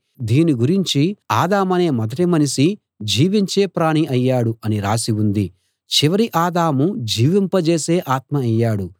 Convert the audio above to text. దీని గురించి ఆదామనే మొదటి మనిషి జీవించే ప్రాణి అయ్యాడు అని రాసి ఉంది చివరి ఆదాము జీవింపజేసే ఆత్మ అయ్యాడు